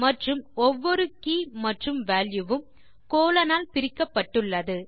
மற்றும் ஒவ்வொரு கே மற்றும் வால்யூ வும் கோலோன் ஆல் பிரிக்கப்பட்டுள்ளது